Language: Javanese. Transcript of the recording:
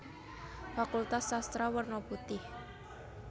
Fakultas Sastra werna putih